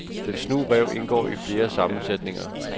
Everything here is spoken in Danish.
Den snu ræv indgår i flere sammensætninger.